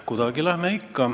Kuidagi ikka läheme.